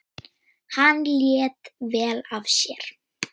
Þá skildu leiðir.